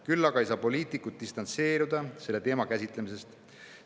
Küll aga ei saa poliitikud distantseeruda selle teema käsitlemisest.